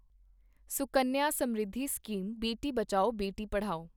Sukanya Samriddhi scheme Beti Bachao Beti Padhao